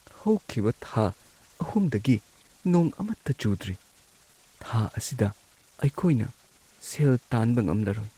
ꯍꯧꯈꯤꯕ ꯊꯥ ꯳ꯗꯒꯤ ꯅꯣꯡ ꯑꯃꯠꯇ ꯆꯨꯗ꯭ꯔꯤ꯫ ꯊꯥ ꯑꯁꯤꯗ ꯑꯩꯈꯣꯏꯅ ꯁꯦꯜ ꯇꯥꯟꯕ ꯉꯝꯂꯔꯣꯏ꯫